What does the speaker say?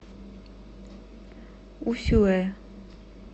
усюэ